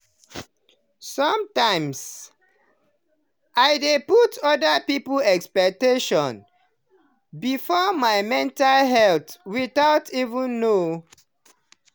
sometimes i dey put other people expectation before my mental health without even know.